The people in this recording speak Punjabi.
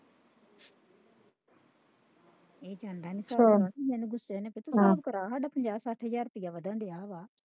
ਇਹ ਜਾਂਦਾ ਨਹੀਂ ਸਾਬ ਕਰਨ ਹਿਸਾਬ ਕਰਾ ਸਾਡਾ ਪੰਜਾਹ ਸੱਠ ਹਜ਼ਾਰ ਰੁਪਈਆ ਵਧਣ ਦਿਆ ਵਾ।